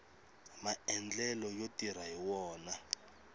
maendlelo yo tirha hi wona